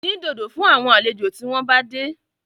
Dín dòdò fún àwọn àlejò tí wọ́n bá dé